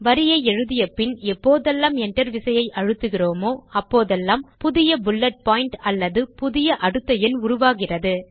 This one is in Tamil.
வரியை எழுதியபின் எப்போதெல்லாம் Enter விசையை அழுத்துகிறோமோ அப்போதெல்லாம் புதிய புல்லட் பாயிண்ட் அல்லது புதிய அடுத்த எண் உருவாகிறது